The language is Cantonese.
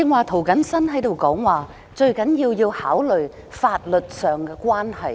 涂謹申議員剛才說，最重要是考慮法律上的關係。